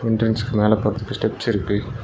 சில்ட்ரன்ஸ்க்கு மேல போறதுக்கு ஸ்டெப்ஸ் இருக்கு.